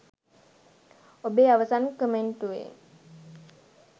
ඔබේ අවසන් කමෙන්ටුවේ